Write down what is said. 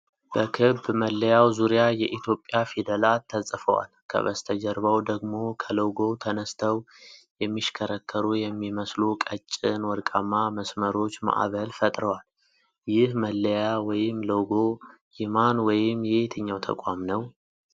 በክብ መለያው ዙሪያ የኢትዮጵያ ፊደላት ተጽፈዋል። ከበስተጀርባው ደግሞ ከሎጎው ተነስተው የሚሽከረከሩ የሚመስሉ ቀጭን ወርቃማ መስመሮች ማዕበል ፈጥረዋል። ይህ መለያ (ሎጎ) የማን ወይም የየትኛው ተቋም ነው?